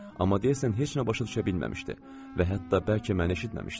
Amma deyəsən heç nə başa düşə bilməmişdi və hətta bəlkə məni eşitməmişdi də.